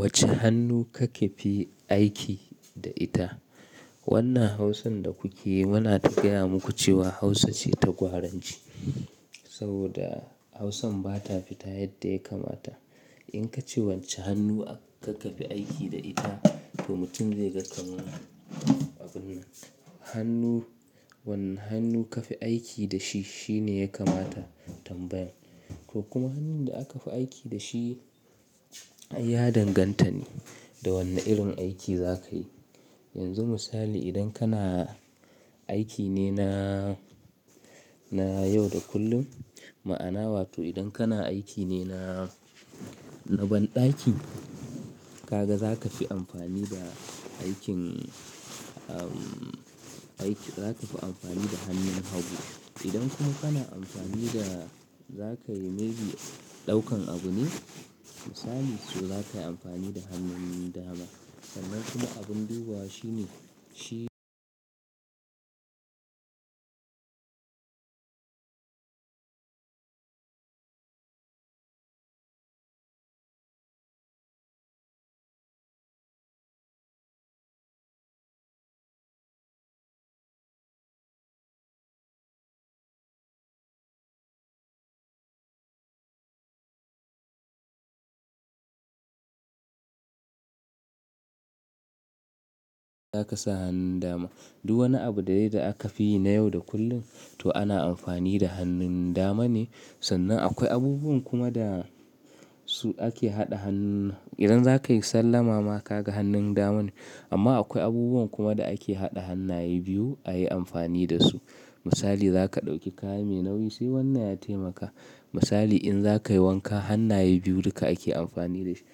Wacce hannu kake fi aiki da ita? Wannan Hausan da kukeyi muna ta gaya muku cewa Hausa ce ta gwaranci. Saboda Hausan ba ta fita yadda ya kamata. In ka ce wacce hannu kake fi aiki da ita, to mutum zai ga kaman abun nan. Hannu, wanne hannu kafi aiki da shi, shine ya kamata tambayan. To kuma hannun da aka fi aiki da shi ya danganta ne da wanne irin aiki za ka yi. Yanzu misali idan kana aiki ne na, na yau da kullum. Ma'ana wato idan kana aiki ne na, na banɗaki, ka ga za ka fi amfani da aikin, umm, aiki, za ka fi amfani da hannun hagu. Idan kuma kana amfani da za ka yi maybe ɗaukan abu ne, misali so za ka yi amfani da hannun dama. Sannan kuma abun ɗuba shine, shi-- za ka sa hannun dama. Duk wani abu da yai da aka fi yi na yau da kullun to ana amfani da hannun dama ne. Sannan akwai abubuwan kuma da su ake haɗa hannun, idan za ka yi sallah mama ka ga hannun dama ne. Amma akwai abubuwan kuma da ake haɗa hannaye biyu a yi amfani da su. Misali zaka dauki kaya mai nauyi sai wannan ya taimaka, misali in zakayi wanka hannaye biyu duka ake anfani dashi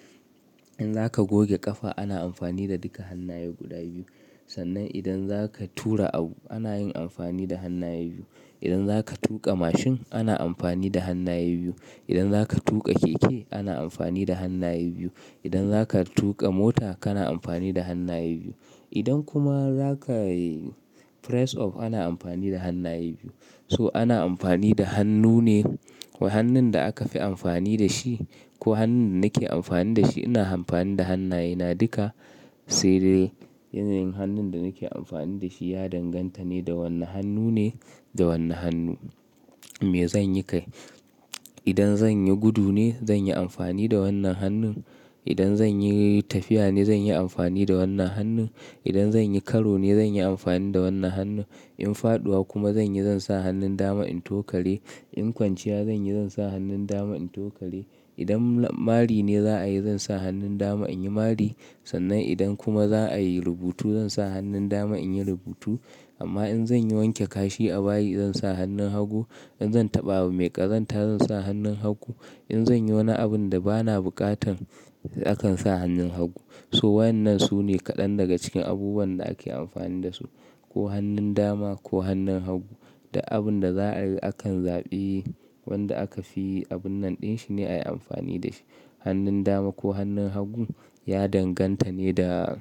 in za ka goge ƙafa ana amfani da duka hannaye guda biyu. Sannan idan za ka tura abu ana yin amfani da hannaye biyu. Idan za ka tuƙa mashin ana amfani da hannaye biyu. Idan za ka tuƙa keke ana amfani da hannaye biyu. Idan za ka tuƙa mota kana amfani da hannaye biyu. Idan kuma za ka yi press up ana amfani da hannaye biyu. So ana amfani da hannu ne. To hannun da aka fi amfani da shi ko hannun da nake amfani da shi ina amfani da hannayena duka. Sai dai yanayin hannun da nake amfani da shi ya danganta ne da wanne hannu ne, da wanne hannu me zan yi kai. Idan zan yi gudu ne zan yi amfani da wannan hannun. Idan zan yi tafiya ne zan yi amfani da wannan hannun. Idan zan yi karo ne zan yi amfani da wannan hannun. In faɗuwa kuma zan yi zan sa hannun dama in tokare. In kwanciya zan yi zan sa hannun dama in tokale. Idan mari ne za a yi zan sa hannun dama in yi mari. Sannan idan kuma za a yi rubutu zan sa hannun dama in yi rubutu. Amma in zan yi wanke kashi a bayi zan sa hannun hagu. In zan taɓa abu mai ƙazanta zan sa hannun hagu, in zan yi wani abun da bana buƙatan akan sa hannun hagu. So wa ennan nan su ne kaɗan daga cikin abubuwan da ake amfani da su. Ko hannun dama ko hannun hagu. Duk abun da za a yi akan zaɓi wanda aka fi abun nan ɗin shine a yi amfani da shi. Hannun dama ko hannun hagu ya danganta ne da,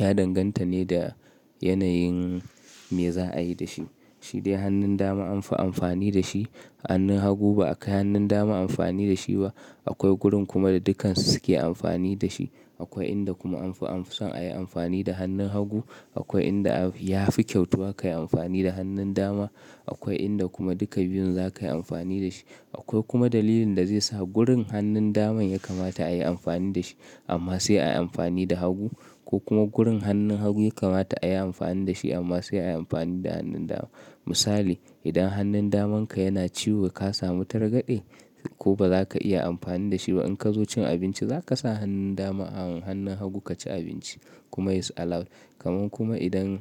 ya danganta ne da yanayin me za a yi da shi. Shi dai hannun dama anfi amfani da shi. Hannun hagu ba akai hannun dama amfani da shi ba. Akwai gurin kuma da dukan su suke amfani da shi. Akwai inda kuma anfi, anfi son a yi amfani da hannun hagu. Akwai inda ya fi kyautuwa ka yi amfani da hannun dama. Akwai inda kuma duka biyun za ka yi amfani da shi. Akwai kuma dalilin da zai sa gurin hannun daman ya kamata a yi amfani da shi amma sai a yi amfani da hagu. Ko kuma gurin hannun hagu ya kamata a yi amfani da shi amma sai a yi amfani da hannun dama. Misali idan hannun damanka yana ciwo ka samu targade ko ba za ka iya amfani da shi ba in ka zo cin abinci za ka sa hannun dama a hannun hagu ka ci abinci. Kuma it's allowed. Kaman kuma idan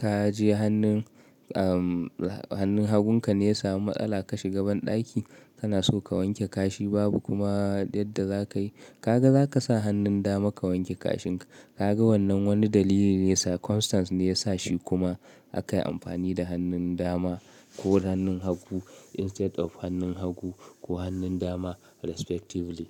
ka je hannun, umm, hannun hagun ka ne ya samu matsala ka shiga banɗaki, kana so ka wanke kashi babu kuma yadda za ka yi, ka ga za ka sa hannun dama ka wanke kashin ka. Ka ga wannan wani dalili ne circumstance ne ya sa shi kuma aka yi amfani da hannun dama ko hannun hagu instead of hannun hagu ko hannun dama respectively.